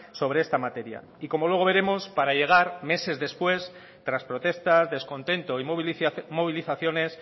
sobre esta materia y como luego veremos para llegar meses después tras protestas descontento y movilizaciones